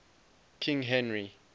king henry